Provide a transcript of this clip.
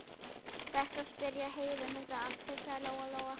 Best að spyrja Heiðu um þetta allt, hugsaði Lóa Lóa.